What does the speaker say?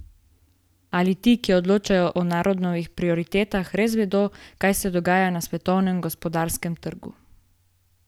Ali ti, ki odločajo o narodovih prioritetah, res vedo, kaj se dogaja na svetovnem gospodarskem trgu?